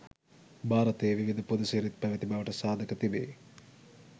භාරතයේ විවිධ පුද සිරිත් පැවැති බවට සාධක තිබේ.